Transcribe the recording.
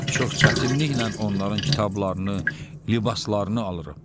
Çox çətinliklə onların kitablarını, libaslarını alırıq.